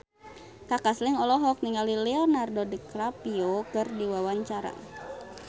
Kaka Slank olohok ningali Leonardo DiCaprio keur diwawancara